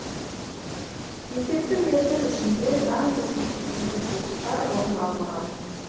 есепті мерзім ішінде заңбұзушылықтар орын алмаған